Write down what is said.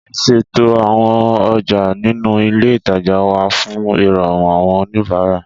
Ìṣètò àwọn ọjà ninu ilé ìtajà wa fun ìròrùn àwọn oníbàárà